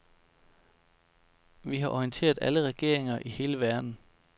Vi har orienteret alle regeringer i hele verden.